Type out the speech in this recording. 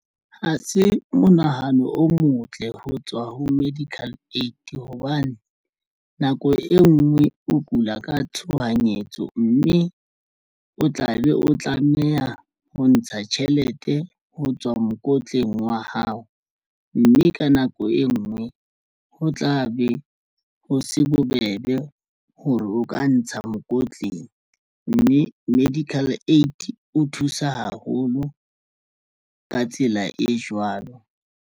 Ha se monahano o motle ho tswa ho medical aid hobane nako e nngwe o kula ka tshohanyetso, mme o tla be o tlameha ho ntsha tjhelete ho tswa mokotleng wa hao mme ka nako e ngwe ho tla be ho se bobebe ho re o ka ntsha mokotleng mme medical aid o thusa haholo. Ka tsela e jwalo.